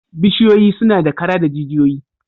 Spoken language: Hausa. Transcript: Bishiyoyi suna da kara da jijiyoyi